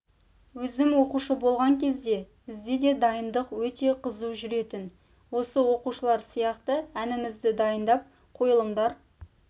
өзім оқушы болған кезде бізде де дайындық өте қызу жүретін осы оқушылар сияқты әнімізді дайындап қойылымдар